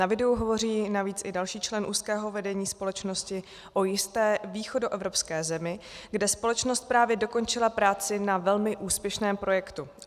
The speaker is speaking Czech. Na videu hovoří navíc i další člen úzkého vedení společnosti o jisté východoevropské zemi, kde společnost právě dokončila práci na velmi úspěšném projektu.